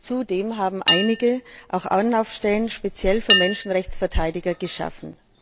Zudem haben einige auch Anlaufstellen speziell für Menschenrechtsverteidiger geschaffen.